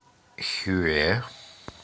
хюэ